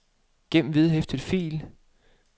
gem vedhæftet fil